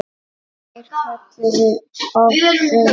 Þeir kölluðu oft upp